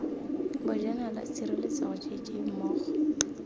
bojanala tshireletsego j j mmogo